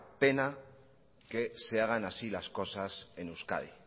pena que se hagan así las cosasen euskadi